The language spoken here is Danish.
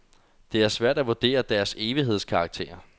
Men det er svært at vurdere deres evighedskarakter.